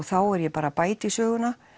þá er ég bara að bæta í söguna